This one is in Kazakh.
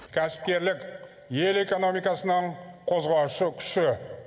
кәсіпкерлік ел экономикасының қозғаушы күші